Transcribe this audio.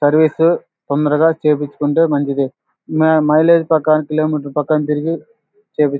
service తొందరగా చేపించుకుంటే మంచిది మా-మైలేజ్ ప్రకారం కిలోమీటర్లు తిరిగి చేయిపించ్క్ --